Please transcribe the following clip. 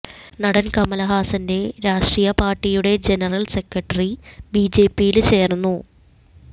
നടന് കമല്ഹാസന്റെ രാഷ്ട്രീയ പാര്ട്ടിയുടെ ജനറല് സെക്രട്ടറി ബിജെപിയില് ചേര്ന്നു